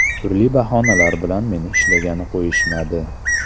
Turli bahonalar bilan meni ishlagani qo‘yishmadi.